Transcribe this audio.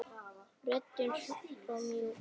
Röddin svo mjúk.